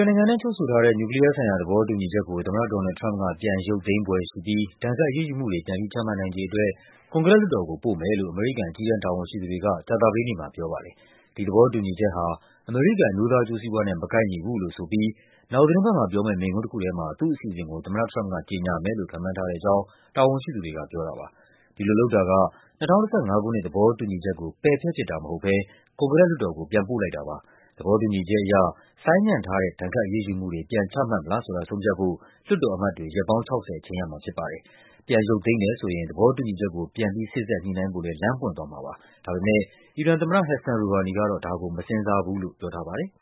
င်ငံနဲ့ ချုပ်ဆိုထားတဲ့ နျူကလီးယားဆိုင်ရာ သဘောတူညီချက်ကို သမ္မတ ဒေါ်နယ်လ်ဒ် ထရမ့်ပ်က ပြန်ရုပ်သိမ်းဖွယ်ရှိပြီး ဒဏ်ခတ်အရေးယူမှုတွေ ပြန်ပြီး ချမှတ်နိုင်ခြေအတွက် ကွန်ဂရက်လွှတ်တော်ကို ပို့မယ်လို့ အမေရိကန် အကြီးတန်းတာဝန်ရှိသူ တွေက ကြာသပတေးနေ့မှာပြောပါတယ်။ ဒီသဘောတူညီချက်ဟာ အမေရိကန် အမျိုးသားအကျိုးစီးပွားနဲ့ မကိုက်ညီဘူးလို့ဆိုပြီး နောက် သီတင်းပတ်မှာပြောမယ့် မိန့်ခွန်း တခုထဲမှာ သူ့အစီအစဉ်ကို သမ္မတထရမ့်ပ်က ကြေညာမယ်လို့ ခန့်မှန်းထားတဲ့အကြောင်း တာဝန်ရှိသူတွေက ပြောပါတယ်။ ဒီလိုလုပ်တာက ၂၀၁၅ ခုနှစ် သဘောတူညီချက်ကို ပယ်ဖျက်ပစ်တာမဟုတ်ဘဲ ကွန်ဂရက်လွှတ်တော်ကို ပြန်ပို့လိုက်တာပါ။ သဘောတူညီချက်အရ ဆိုင်းငံ့ထားတဲ့ ဒဏ်ခတ်အရေးယူမှုတွေ ပြန်ချမှတ်မလားဆိုတာ ဆုံးဖြတ်ဖို့ လွှတ်တော်အမတ်တွေ ရက် ပေါင်း ၆၀ အချိန်ရမှာဖြစ်ပါတယ်။ ပြန်ရုပ်သိမ်းတယ်ဆိုရင် သဘောတူညီချက်ကို ပြန်ပြီး စေ့စပ်ညှိနှိုင်းဖို့လဲ လမ်းပွင့်သွားမှာပါ။ ဒါပေမဲ့ အီရန်သမ္မတ Hassan Rouhani ကတော့ ဒါကို မစဉ်းစားဘူးလို့ ပြောထားပါတယ်။